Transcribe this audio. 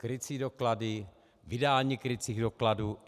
Krycí doklady, vydání krycích dokladů.